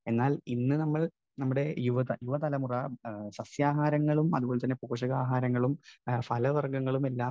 speaker 1 എന്നാൽ ഇന്ന് നമ്മൾ, നമ്മുടെ യുവത, യുവതലമുറ സസ്യാഹാരങ്ങളും അതുപോലെതന്നെ പോഷകാഹാരങ്ങളും ഫലവർഗങ്ങളുമെല്ലാം